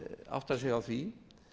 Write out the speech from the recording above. átta sig á því